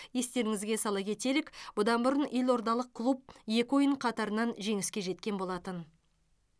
естеріңізге сала кетелік бұдан бұрын елордалық клуб екі ойын қатарынан жеңіске жеткен болатын